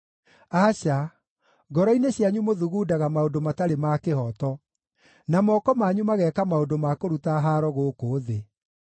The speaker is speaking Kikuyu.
Aca, ngoro-inĩ cianyu mũthugundaga maũndũ matarĩ ma kĩhooto, na moko manyu mageeka maũndũ ma kũruta haaro gũkũ thĩ.